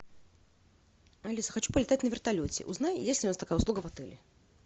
алиса хочу полетать на вертолете узнай есть ли у нас такая услуга в отеле